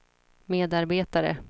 medarbetare